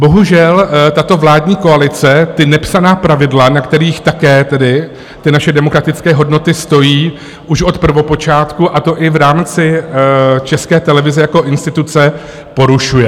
Bohužel tato vládní koalice ta nepsaná pravidla, na kterých také tedy ty naše demokratické hodnoty stojí už od prvopočátku, a to i v rámci České televize jako instituce, porušuje.